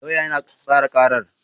Lauyan yana tsara karar.